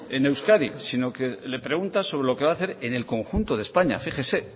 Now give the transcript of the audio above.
en euskadi sino que le pregunta sobre lo que va a hacer en el conjunto de españa fíjese